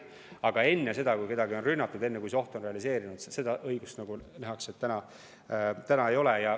Aga enne seda, kui kedagi on rünnatud, enne, kui see oht on realiseerunud, seda õigust nagu täna ei ole.